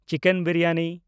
chicken biryani